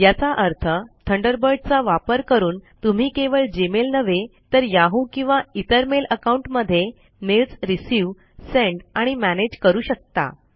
याचा अर्थ थंडरबर्ड चा वापर करून तुम्ही केवळ जीमेल नव्हे तर याहू किंवा इतर मेल अकाउंट मध्ये मेल्स रिसीव्ह सेंड आणि मॅनेज करू शकता